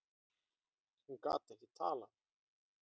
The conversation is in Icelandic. Hún gat ekki talað.